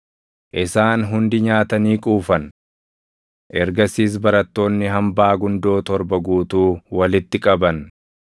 Isaan hundi nyaatanii quufan. Ergasiis barattoonni hambaa gundoo torba guutuu walitti qaban.